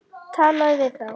Talaðu við þá.